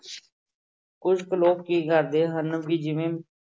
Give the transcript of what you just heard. ਕੁੱਝ ਕੁ ਲੋਕ ਕੀ ਕਰਦੇ ਹਨ ਵੀ ਜਿਵੇਂ